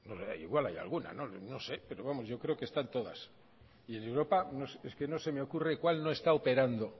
igual hay alguna no sé pero vamos yo creo que están todas y en europa es que no se me ocurre cuál no está operando